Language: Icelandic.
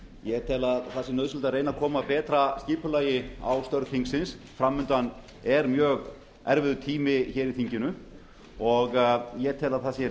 ég tel að nauðsynlegt sé að reyna að koma betra skipulagi á störf þingsins fram undan er mjög erfiður tími í þinginu og ég tel að það sé